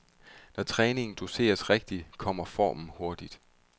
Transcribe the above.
Når træningen doseres rigtigt, kommer formen hurtigt.